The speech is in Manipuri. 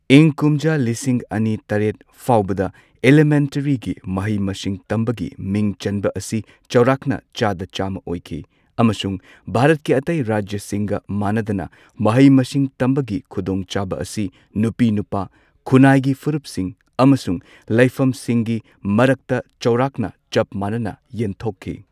ꯏꯪ ꯀꯨꯝꯖꯥ ꯂꯤꯁꯤꯡ ꯑꯅꯤ ꯇꯔꯦꯠ ꯐꯥꯎꯕꯗ ꯏꯂꯤꯃꯦꯟꯇꯔꯤꯒꯤ ꯃꯍꯩ ꯃꯁꯤꯡ ꯇꯝꯕꯒꯤ ꯃꯤꯡ ꯆꯟꯕ ꯑꯁꯤ ꯆꯥꯎꯔꯥꯛꯅ ꯆꯥꯗ ꯆꯥꯝꯃ ꯑꯣꯏꯈꯤ꯫ ꯑꯃꯁꯨꯡ ꯚꯥꯔꯠꯀꯤ ꯑꯇꯩ ꯔꯥꯖ꯭ꯌꯁꯤꯡꯒ ꯃꯥꯟꯅꯗꯅ ꯃꯍꯩ ꯃꯁꯤꯡ ꯇꯝꯕꯒꯤ ꯈꯨꯗꯣꯡꯆꯥꯕ ꯑꯁꯤ ꯅꯨꯄꯤ ꯅꯨꯄꯥ ꯈꯨꯟꯅꯥꯏꯒꯤ ꯐꯨꯔꯨꯞꯁꯤꯡ ꯑꯃꯁꯨꯡ ꯂꯩꯐꯝꯁꯤꯡꯒꯤ ꯃꯔꯛꯇ ꯆꯥꯎꯔꯥꯛꯅ ꯆꯞ ꯃꯥꯟꯅꯅ ꯌꯦꯟꯊꯣꯛꯈꯤ꯫